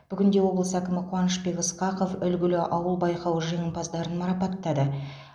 бүгін де облыс әкімі қуанышбек ысқақов үлгілі ауыл байқауы жеңімпаздарын марапаттады